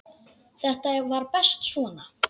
Þetta var best svona.